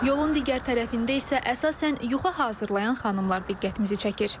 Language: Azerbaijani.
Yolun digər tərəfində isə əsasən yuxa hazırlayan xanımlar diqqətimizi çəkir.